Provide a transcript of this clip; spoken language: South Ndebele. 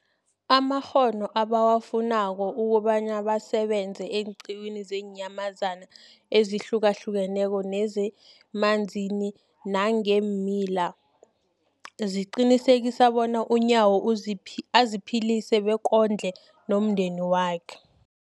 amakghono ebawafunako ukobana basebenze eenqiwini zeenyamazana ezihlukahlukeneko nezemanzini nangeemila, liqinisekisa bona uNyawo aziphilise bekondle nomndenakhe.